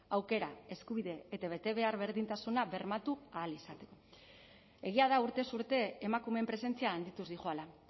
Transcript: aukera eskubide eta betebehar berdintasuna bermatu ahal izateko egia da urtez urte emakumeen presentzia handituz dihoala